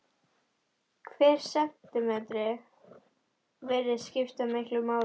Hver sentímetri virðist skipta miklu máli.